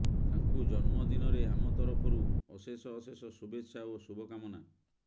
ତାଙ୍କୁ ଜନ୍ମ ଦିନରେ ଆମ ତରଫରୁ ଅଶେଷ ଅଶେଷ ଶୁଭେଚ୍ଛା ଓ ଶୁଭକାମନା